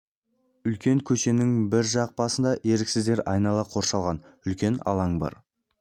үлкен көшенің бір жақ басында еріксіздер айнала қоршалған үлкен алаң бар